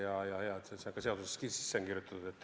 Väga hea, et see ka seadusesse sisse on kirjutatud.